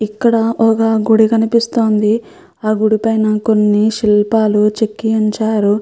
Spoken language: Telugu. ఇక్కడ ఒక గుడి కనిపిస్తుంది. ఆ గుడి పైన కొన్ని శిల్పాలు చెక్కి ఉంచారు.